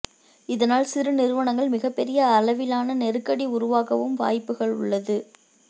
இதனால் சிறு நிறுவனங்கள் மிகப்பெரிய அளவிலான நெருக்கடி உருவாகவும் வாய்ப்புகள் உள்ளது